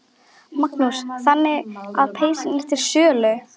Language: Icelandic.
Magnús: Þannig að peysan er til sölu?